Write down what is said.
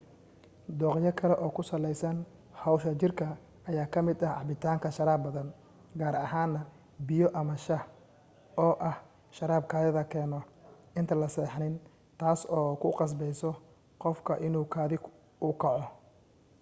dooqyo kale oo ku salaysan hawsha jirka ayaa ka mid ah cabitaanka sharaab badan gaar ahaan na biyo ama shah oo ah sharaab kaadida keeno inta la seexanin taasi oo ku qasbayso qofka inuu kaadi u kaco